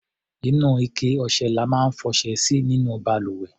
Inú ike ọṣẹ la máa ń fọṣẹ sí nínú balùwẹ̀.